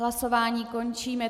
Hlasování končím.